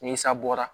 Ni sa bɔra